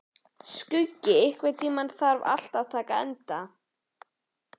Skuggi, einhvern tímann þarf allt að taka enda.